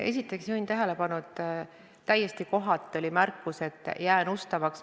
Esiteks juhin tähelepanu, et täiesti kohatu oli märkus sõnade kohta, et jään ustavaks.